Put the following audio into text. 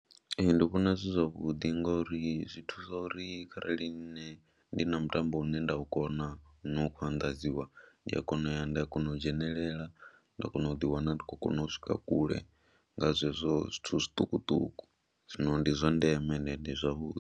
Ee, ndi vhona zwi zwavhuḓi ngori zwi thusa uri kharali nṋe ndi na mutambo une nda u kona u no khou anḓadziwa ndi a kona u ya nda kona u dzhenelela nda kona u ḓiwana ndi khou kona u swika kule nga zwezwo zwithu zwiṱukuṱuku, zwino ndi zwa ndeme ende ndi zwavhuḓi.